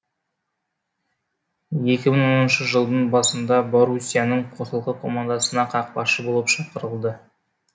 екі мың оныншы жылдың басында боруссияның қосалқы командасына қақпашы болып шақырылды